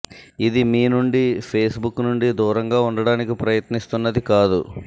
ఇది మీ నుండి ఫేస్బుక్ నుండి దూరంగా ఉండటానికి ప్రయత్నిస్తున్నది కాదు